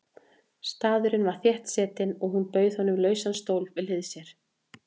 Staðurinn var þéttsetinn og hún bauð honum lausan stól við hlið sér.